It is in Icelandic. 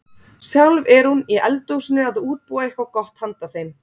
Sjálf er hún í eldhúsinu að útbúa eitthvað gott handa þeim.